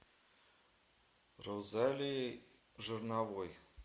розалией жирновой